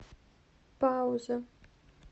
пауза